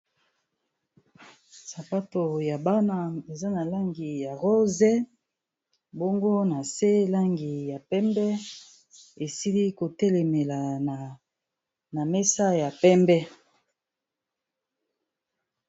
Sapato ya bana eza na langi ya rose, bongo na se langi ya pembe esili kotelemela na mesa ya pembe.